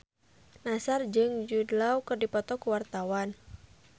Nassar jeung Jude Law keur dipoto ku wartawan